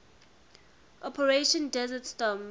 operation desert storm